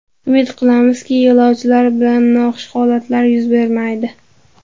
Umid qilamizki, yo‘lovchilar bilan noxush holatlar yuz bermaydi.